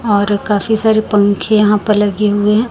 और काफी सारे पंखे यहां पर लगे हुए हैं।